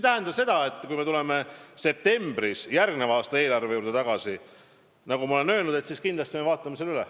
Aga kui me tuleme septembris järgmise aasta eelarve juurde tagasi, siis me kindlasti vaatame selle üle.